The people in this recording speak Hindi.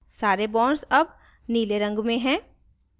सारे bonds all नीले रंग में हैं